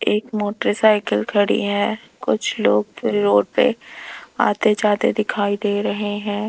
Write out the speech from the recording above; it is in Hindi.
एक मोटरसाइकिल खड़ी है कुछ लोग फिर रोड पे आते जाते दिखाई दे रहे हैं।